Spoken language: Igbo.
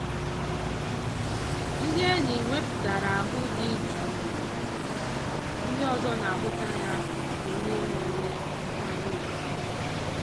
ndị enyi wepụtara ahụ dị jụụ ndị ọzọ na-ahụta ya dị ka onye nwere nkwanye ugwu.